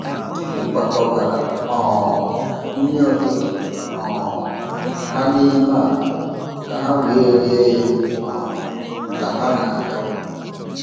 M kwakọbara um nri ụtụtụ um ha n’ime akpa ka ha wee rie ya um ka ha na-aga.